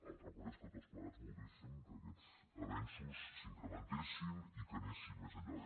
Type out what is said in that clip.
altra cosa és que tots plegats volguéssim que aquests avenços s’incrementessin i que anessin més enllà